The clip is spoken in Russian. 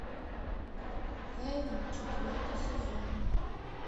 хейвен четвертый сезон